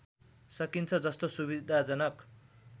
सकिन्छ जस्तो सुविधाजनक